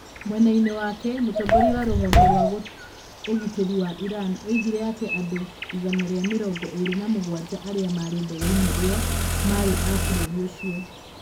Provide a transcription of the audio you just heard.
Mwena-inĩ wake, mũtongoria wa rũhonge rwa ũgitĩri wa Iran oigire atĩ andũ igana rĩa mĩrongo ĩna na mũgwanja arĩa maarĩ ndege-inĩ ĩyo maarĩ a bũrũri ũcio.